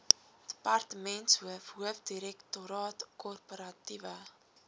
departementshoof hoofdirektoraat korporatiewe